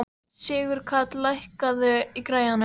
Sigurkarl, lækkaðu í græjunum.